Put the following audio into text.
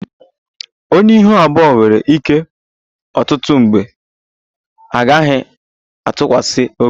Onye ihu abụọ nwere ike ọtụtụ mgbe a gaghị atụkwasị obi